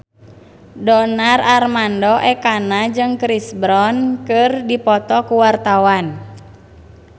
Donar Armando Ekana jeung Chris Brown keur dipoto ku wartawan